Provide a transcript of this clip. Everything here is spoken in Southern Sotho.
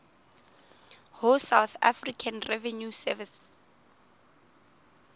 ho south african revenue service